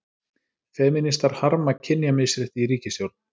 Femínistar harma kynjamisrétti í ríkisstjórn